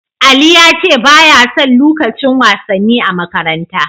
Ali ya ce ba ya son lukacin wasanni a makaranta.